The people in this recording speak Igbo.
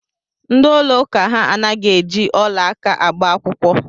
Ndị ụlọ ụka ha anaghị eji ọla aka agba akwụkwọ.